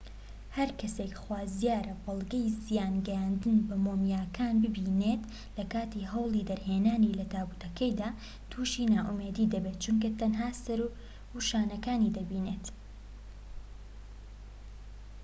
هەرکەسێك خوازیارە بەڵگەی زیان گەیاندن بە مۆمیاکان ببینێت لەکاتی هەوڵی دەرهێنانی لە تابوتەکەیدا توشی نائومێدی دەبێت چونکە تەنها سەر و شانەکانی دەبینێت